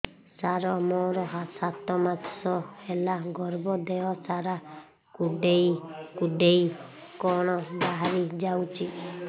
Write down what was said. ସାର ମୋର ସାତ ମାସ ହେଲା ଗର୍ଭ ଦେହ ସାରା କୁଂଡେଇ କୁଂଡେଇ କଣ ବାହାରି ଯାଉଛି